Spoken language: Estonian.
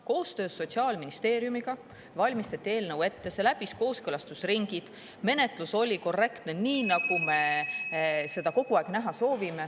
Koostöös Sotsiaalministeeriumiga valmistati eelnõu ette, see läbis kooskõlastusringid, menetlus oli korrektne, nii nagu me seda kogu aeg näha soovime.